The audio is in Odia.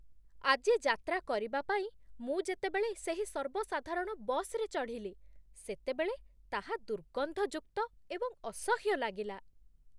ଆଜି ଯାତ୍ରା କରିବା ପାଇଁ ମୁଁ ଯେତେବେଳେ ସେହି ସର୍ବସାଧାରଣ ବସ୍‌ରେ ଚଢ଼ିଲି, ସେତେବେଳେ ତାହା ଦୁର୍ଗନ୍ଧଯୁକ୍ତ ଏବଂ ଅସହ୍ୟ ଲାଗିଲା।